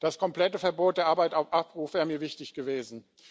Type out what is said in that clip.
Das komplette Verbot der Arbeit auf Abruf wäre mir wichtig gewesen.